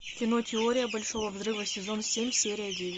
кино теория большого взрыва сезон семь серия девять